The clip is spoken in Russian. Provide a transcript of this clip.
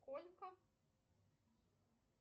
сколько